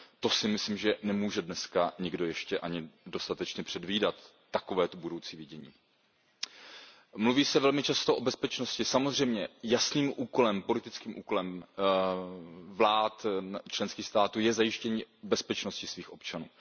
To si myslím, že nemůže dneska nikdo ještě ani dostatečně předvídat, takovéto budoucí vidění. Mluví se velmi často o bezpečnosti. Samozřejmě jasným politickým úkolem vlád členských států je zajištění bezpečnosti svých občanů.